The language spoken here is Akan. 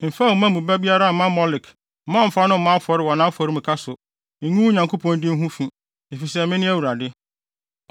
“ ‘Mfa wo mma mu biara mma Molek mma ɔmmfa no mmɔ afɔre wɔ nʼafɔremuka so. Ngu wo Nyankopɔn din ho fi, efisɛ mene Awurade.